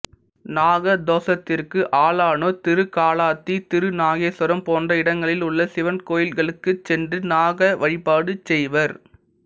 நாக தோசத்திற்கு ஆளானோர் திருக்காளாத்தி திருநாகேசுவரம் போன்ற இடங்களில் உள்ள சிவன் கோயில்களுக்குச் சென்று நாக வழிபாடு செய்வர்